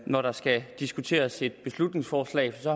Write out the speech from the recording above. når der skal diskuteres et beslutningsforslag for